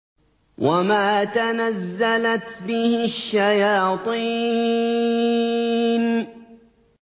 وَمَا تَنَزَّلَتْ بِهِ الشَّيَاطِينُ